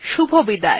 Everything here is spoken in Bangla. শুভবিদায়